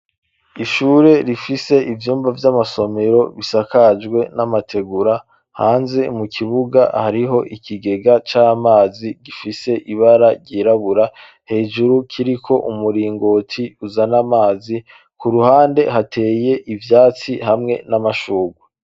Ishure, rifise ivyumba vy'amasomero, bisakajwe n'amategura; hanze mu kibuga, hariho ikigega c'amazi, gifise ibara ryirabura; hejuru, kiriko umuringoti, uzana amazi; ku ruhande hateye ivyatsi, hamwe n'amashurwe.